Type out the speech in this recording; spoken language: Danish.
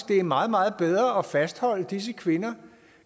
det er meget meget bedre at fastholde disse kvinder